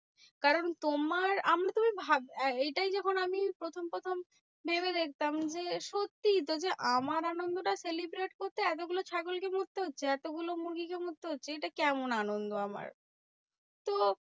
কারণ তোমার আমরা তো এইটাই যখন আমি প্রথম প্রথম ভেবে দেখতাম যে, সত্যি তো যে আমার আনন্দটা celebrate করতে এতগুলো ছাগলকে মরতে হচ্ছে, এতগুলো মুরগিকে মরতে হচ্ছে। এটা কেমন আনন্দ আমার? তো